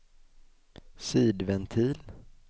sidventil